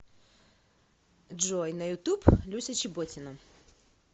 джой на ютуб люся чеботина